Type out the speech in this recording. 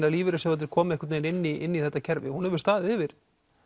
að lífeyrissjóðirnir komi einhvern veginn inn í þetta kerfi hún hefur staðið yfir